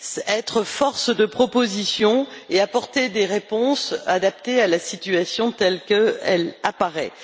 être force de proposition et apporter des réponses adaptées à la situation telle qu'elle apparaît.